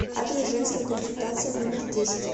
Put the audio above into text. адрес женская консультация номер десять